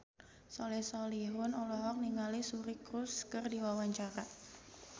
Soleh Solihun olohok ningali Suri Cruise keur diwawancara